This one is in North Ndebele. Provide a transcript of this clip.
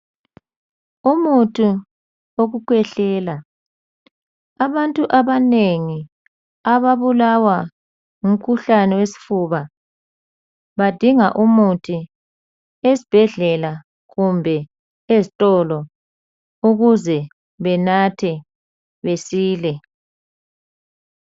Umuthi wokukhwehlela abantu abanengi ababulawa ngumkhuhlane wesifuba badinga umuthi esibhedlela kumbe ezitolo ukuze benathe besile.